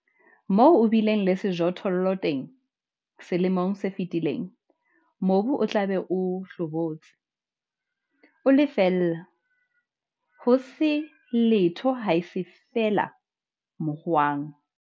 Moo o bileng le sejothollo teng selemong se fetileng, mobu o tla be o hlobotse, o le feela, ho se letho haese feela mohwang.